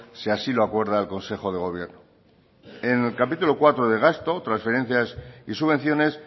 si así lo acuerda el consejo de gobierno en el capítulo cuarto de gasto transferencias y subvenciones